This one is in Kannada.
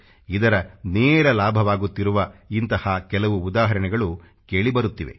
ಇದರ ನೇರ ಲಾಭವಾಗುತ್ತಿರುವ ಇಂಥ ಕೆಲವು ಉದಾಹರಣೆಗಳು ಕೇಳಿ ಬರುತ್ತಿವೆ